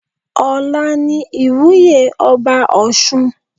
Ọla ni ìwúye ọba ọ̀ṣun.